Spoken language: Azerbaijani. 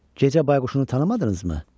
Gecə bayquşunu tanımadınızmı?